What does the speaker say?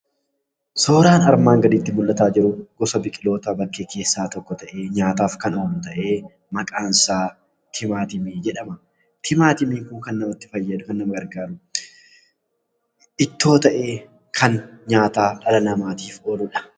Suuraan armaan gaditti mul'ataa jiru kun gosa biqiloota bakkee keessaa tokko ta'ee, nyaataaf kan oolu ta'ee, maqaan isaa timaatimii jedhama. Timaatimiin kun kan fayyadu yookaan nugargaaru ittoo ta'ee kan nyaataa dhala namaatif ooludha.